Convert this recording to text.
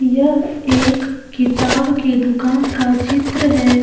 यह एक किताब की दुकान का चित्र है।